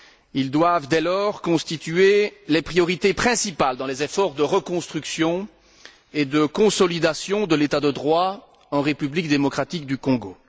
Ils doivent dès lors constituer les priorités principales dans les efforts de reconstruction et de consolidation de l'état de droit en République démocratique du Congo.